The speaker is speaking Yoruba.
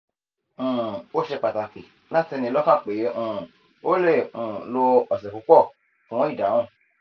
um o se pataki lati ni lokan pe um o le um lo ose pupo fun idahun